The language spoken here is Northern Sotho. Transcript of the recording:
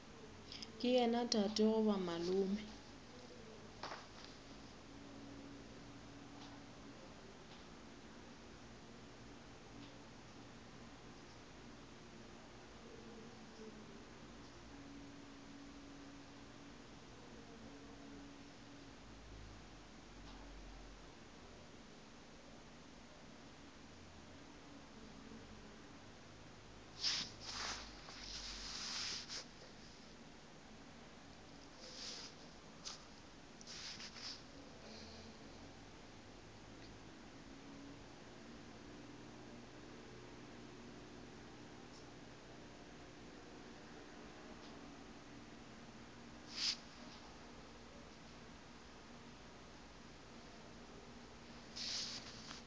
ke yena tate goba malome